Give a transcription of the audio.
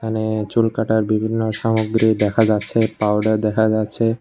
এখানে চুল কাটার বিভিন্ন সামগ্রী দেখা যাচ্ছে পাউডার দেখা যাচ্ছে।